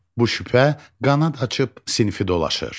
Bu şübhə qanad açıb sinfi dolaşır.